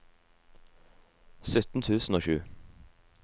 sytten tusen og sju